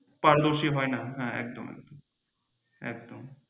controversy হয়না হ্যাঁ একদম একদম একদম।